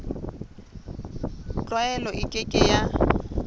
tlwaelo e ke ke ya